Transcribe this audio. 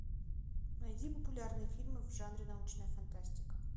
найди популярные фильмы в жанре научная фантастика